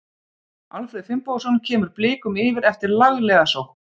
Alfreð Finnbogason kemur Blikum yfir eftir laglega sókn.